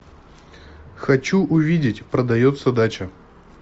хочу увидеть продается дача